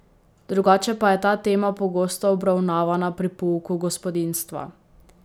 Drugače pa je ta tema pogosto obravnavana pri pouku gospodinjstva.